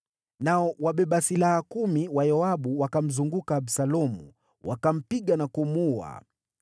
Nao wabeba silaha kumi wa Yoabu wakamzunguka Absalomu, wakampiga na kumuua.